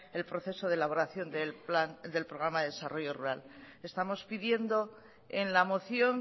el proceso de elaboración del programa de desarrollo rural estamos pidiendo en la moción